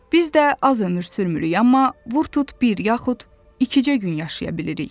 Biz də az ömür sürmürük, amma vur tut bir yaxud ikicə gün yaşaya bilirik.